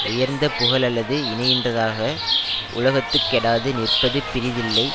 உயர்ந்த புகழல்லது இணை யின்றாக உலகத்துக் கெடாது நிற்பது பிறிதில்லை